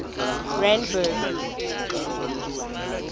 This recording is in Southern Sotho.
randburg